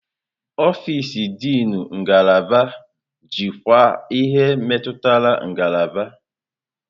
Ọfịs Dịnụ ngalaba jikwaa ihe metụtara ngalaba.